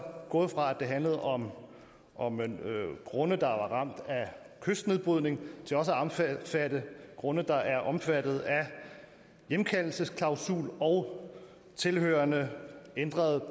gået fra at handle om om grunde der var ramt af kystnedbrydning til også at omfatte grunde der er omfattet af hjemkaldelsesklausul og tilhørende ændret